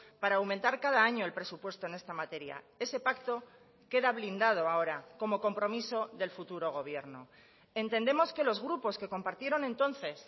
para aumentar cada año el presupuesto en esta materia ese pacto queda blindado ahora como compromiso del futuro gobierno entendemos que los grupos que compartieron entonces